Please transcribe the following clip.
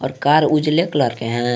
Car उजाले colour के है।